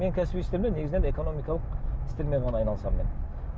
менің кәсіби істерімде негізінен экономикалық істермен ғана айналысамын мен